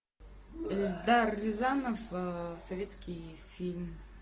эльдар рязанов советский фильм